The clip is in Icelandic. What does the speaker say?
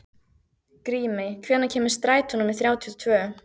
Grímey, hvenær kemur strætó númer þrjátíu og tvö?